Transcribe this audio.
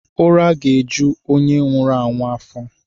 Ụra ga-eju onye nwụrụ anwụ afọ.